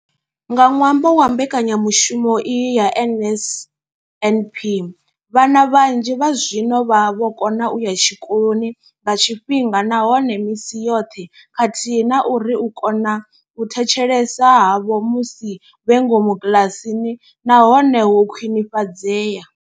Nga ṅwambo wa mbekanyamushumo iyi ya NSNP, vhana vhanzhi zwazwino vha vho kona u ya tshikoloni nga tshifhinga nahone misi yoṱhe khathihi na uri u kona u thetshelesa havho musi vhe ngomu kiḽasini na hone ho khwinifhadzea.